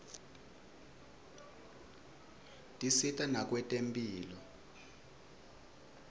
tisita nakwetemphilo